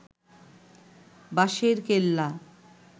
Basherkella